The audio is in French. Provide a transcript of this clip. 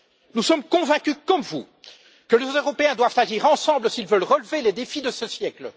Nous sommes convaincus, comme vous, que les Européens doivent agir ensemble s'ils veulent relever les défis de ce siècle.